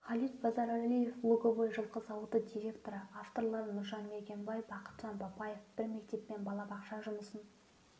халит базаралиев луговой жылқы зауыты директоры авторлары нұржан мергенбай бақытжан бапаев бір мектеп пен балабақша жұмысын